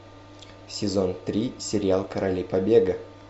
сезон три сериал короли побега